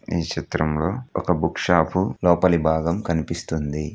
ఈ చిత్రంలో ఒక బుక్ షాప్ లోపలి భాగం కనిపిస్తుంది.